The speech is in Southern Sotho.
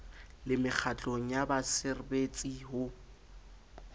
le mekgatlong ya baserbetsi ho